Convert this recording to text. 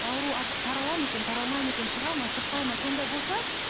ауру таралады ма екен таралмайды ма екен шығады ма шықпайды ма сондай болса